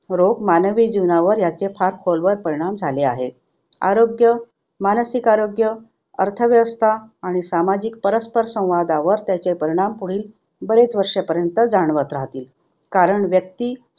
रोग मानवी जीवनावर याचे फार खोलवर परिणाम झाले आहेत. आरोग्य, मानसिक आरोग्य, अर्थव्यवस्था आणि सामाजिक परस्पर संवादावर त्याचे परिणाम पुढील बरेच वर्षपर्यंत जाणवत राहतील. कारण व्यक्ति